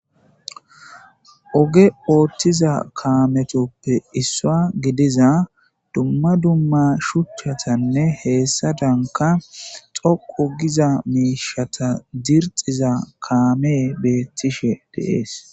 oge ooththiza kaametoppe issua gidiza dumma dumma shuchchatanne heessa danka xoqu giza miishata zirxiza kaame beettishe deees